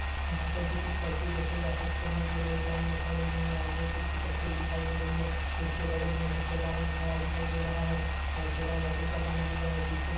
यहां पर भी कुछ व्यक्ति देखे जा सकते हैं जो की लाइन में खड़े हुए हैं आगे एक स्कूटर दिखा दे रहा है हमारे बगल में एक ठेला दिखा दे रहा है ठेला लकड़ी का बना हुआ है पीछे--